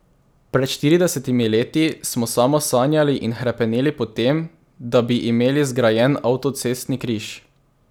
Pred štiridesetimi leti smo samo sanjali in hrepeneli po tem, da bi imeli zgrajen avtocestni križ.